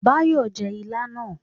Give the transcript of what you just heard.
Báyọ̀ jẹ́ ilá náà